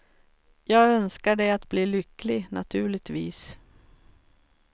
Jag önskar dig att bli lycklig, naturligtvis.